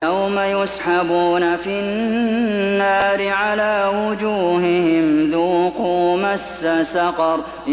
يَوْمَ يُسْحَبُونَ فِي النَّارِ عَلَىٰ وُجُوهِهِمْ ذُوقُوا مَسَّ سَقَرَ